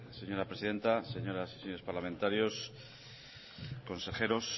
señora presidenta señoras y señores parlamentarios consejeros